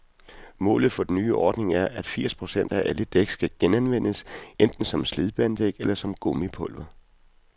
Målet for den nye ordning er, at firs procent af alle dæk skal genanvendes, enten som slidbanedæk eller som gummipulver.